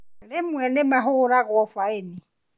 Rĩmwe nĩmahũragwo baĩni